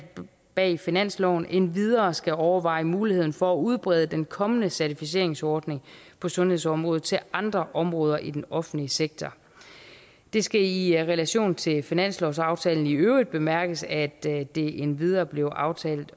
bag finansloven endvidere skal overveje muligheden for at udbrede den kommende certificeringsordning på sundhedsområdet til andre områder i den offentlige sektor det skal i i relation til finanslovsaftalen i øvrigt bemærkes at det det endvidere blev aftalt